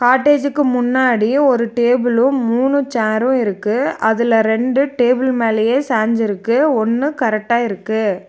காட்டேஜ்க்கு முன்னாடி ஒரு டேபிளு மூனு சேரு இருக்கு அதுல ரெண்டு டேபிள் மேலேயே சாஞ்சி இருக்கு ஒன்னு கரெக்டா இருக்கு.